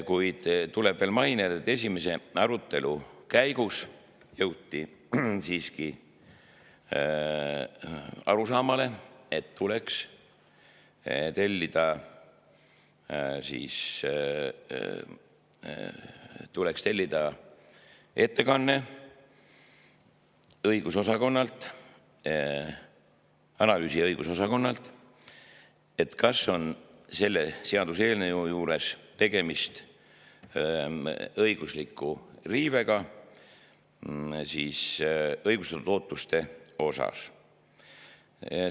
Kuid tuleb veel mainida, et esimese arutelu käigus jõuti siiski arusaamale, et tuleks tellida õigus- ja analüüsiosakonnalt, et kas ei ole tegemist õigusliku riivega ning ega eelnõu õigustatud ootuse.